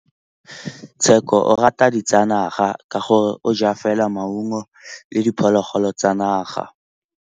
Tshekô o rata ditsanaga ka gore o ja fela maungo le diphologolo tsa naga.